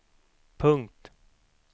punkt